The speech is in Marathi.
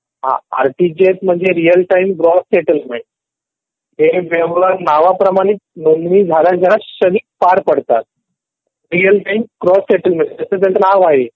हा आरटीजीएस म्हणजे रियल टाईम ग्रॉस सेटलमेंट. ते व्यवहार नावाप्रमाणे नोंदणी झाल्या झाल्याचं क्षणिक पार पडतात रियल टाईम ग्रॉस सेटलमेंट म्हणजे जसं ज्याचं नाव आहे. तर रियल टाईमिंग आपल्या दुसऱ्या व्यक्तीचा अकाऊंट मधि व्यवहार ट्रान्सफर होतो. एकदा पण मुलाचा शोधात दोन दोन लाखा पासून सुरु झाले.